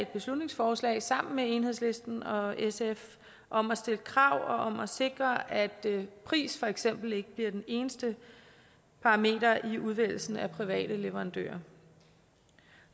beslutningsforslag sammen med enhedslisten og sf om at stille krav om at sikre at prisen for eksempel ikke bliver den eneste parameter i udvælgelsen af private leverandører